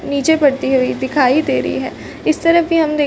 नीचे पड़ती हुई दिखाई दे रही है इस तरफ भी हम --